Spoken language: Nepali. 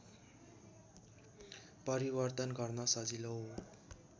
परिवर्तन गर्न सजिलो